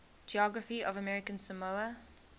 geography of american samoa